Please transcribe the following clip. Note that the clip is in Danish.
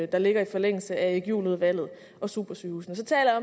der ligger i forlængelse af erik juhl udvalget og supersygehusene så taler